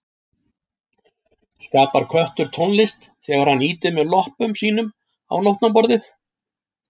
Skapar köttur tónlist þegar hann ýtir með loppum sínum á nótnaborðið?